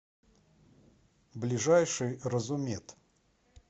ближайший разумед